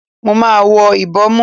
Mo máa wọ ìbòmú.